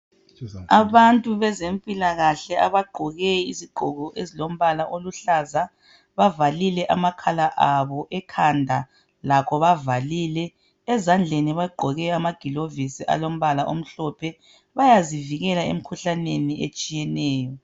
Abantu bezempilakahle abagqoke izigqoko ezilombala oluhlaza, bavalile amakhala abo ekhanda lakho bavalile, ezandleni bagqoke amagilovisi alombala omhlophe bayazivikela emkhuhlaneni etshiyeneyo.